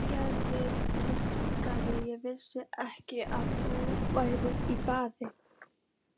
Fyrirgefðu truflunina, ég vissi ekki að þú værir í baði.